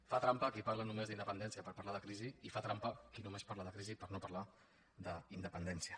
fa trampa qui parla només d’independència per parlar de crisi i fa trampa qui només parla de crisi per no parlar d’independència